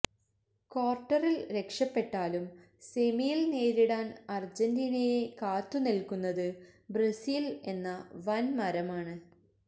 ക്വാര്ട്ടറില് രക്ഷപ്പെട്ടാലും സെമിയില് നേരിടാന് അര്ജന്റീനയെ കാത്തുനില്ക്കുന്നത് ബ്രസീല് എന്ന വന്മരമാണ്